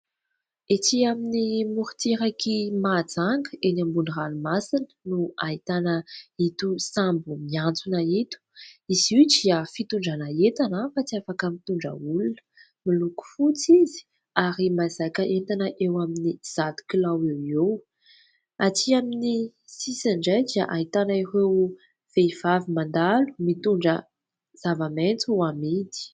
Etỳ amin'ny morontsirak'i Mahajanga, eny ambony ranomasina, no ahitana ito sambo miantsona ito. Izy io dia fitondrana entana fa tsy afaka mitondra olona, miloko fotsy izy ary mahazaka entana eo amin'ny zato kilao eo ho eo. Atỳ amin'ny sisiny indray dia ahitana ireo vehivavy mandalo, mitondra zava-maitso hamidy.